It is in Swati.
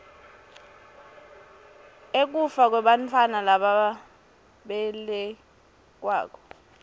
ekufa kwebantfwana lababelekwako